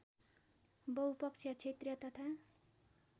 बहुपक्षीय क्षेत्रीय तथा